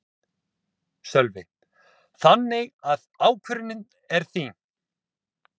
Sölvi: Þannig að ákvörðunin er þín?